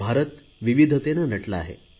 भारत विविधतेने नटला आहे